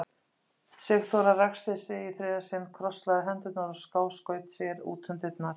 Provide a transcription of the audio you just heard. Sigþóra ræskti sig í þriðja sinn, krosslagði hendurnar og skáskaut sér út um dyrnar.